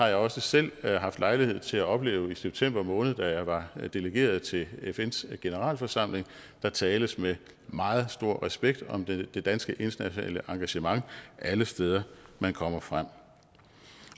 jeg også selv lejlighed til at opleve i september måned da jeg var delegeret til fns generalforsamling der tales med meget stor respekt om det danske internationale engagement alle steder man kommer frem